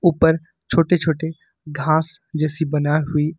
ऊपर छोटे छोटे घास जैसी बना हुई--